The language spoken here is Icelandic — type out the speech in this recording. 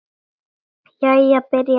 Jæja. byrjar ballið!